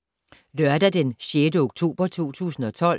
Lørdag d. 6. oktober 2012